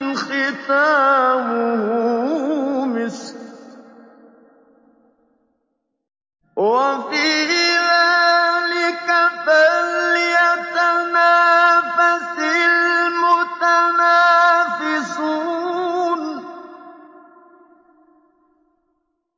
خِتَامُهُ مِسْكٌ ۚ وَفِي ذَٰلِكَ فَلْيَتَنَافَسِ الْمُتَنَافِسُونَ